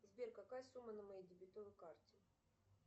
сбер какая сумма на моей дебетовой карте